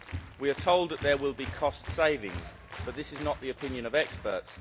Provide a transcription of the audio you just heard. We are told that there will be cost savings, but that is not the opinion of experts.